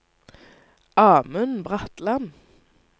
Amund Bratland